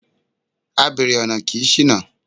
Abèrè ọ̀nà kì í ṣìnà.